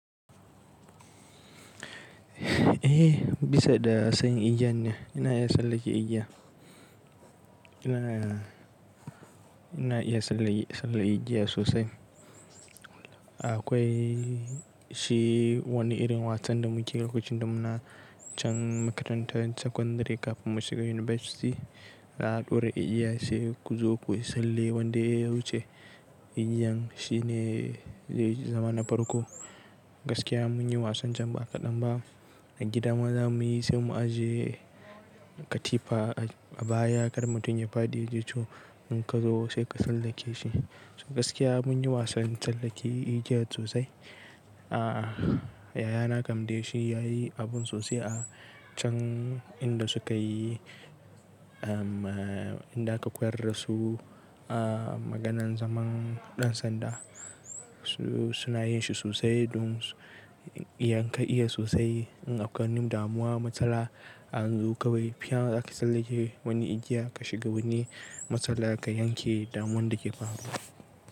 Eh, bisa da sanin igiyan ne. Ina iya tsallake igiya. Ina, ina iya tsalle igiya sosai. Akwai wani irin wasan da mukeyi lokacin da muna can makarantan sakandari kafin mu shiga University. Za a ɗaura igiya sai ku zo ku yi tsalle wanda ya wuce. Igiyan shine zai zama na farko. Gaskiya mun yi wasan can baka ɗan ba. A gida maza muyi sai mu ajiye katifa a baya, kar mutum ya fadi ya ji ciwo. In ka zo sai ka tsallake shi. To gaskiya mun yi wasan tsallake igiya sosai. A'a, yaya na kamde shi yayi abun sosai a can inda suka yi, eh, inda aka koyar da su a maganan zaman ɗan sanda. Su suna yin shi sosai don inka iya sosai. In akwai wani damuwa matsala anzo kawai, fiya zaka tsallake wani igiya ka shiga wani matsala ka yanke damuwan da ke faruwa.